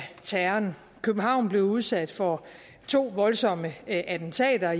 terroren københavn blev udsat for to voldsomme attentater